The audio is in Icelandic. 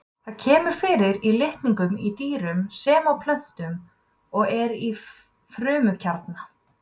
Það kemur fyrir í litningum í dýrum sem og plöntum og er í frumukjarna.